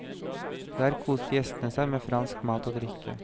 Der koste gjestene seg med fransk mat og drikke.